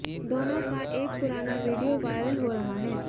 दोनों का एक पुराना वीडियो वायरल हो रहा है